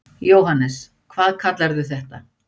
Jóhannes: Hvað kallarðu þetta?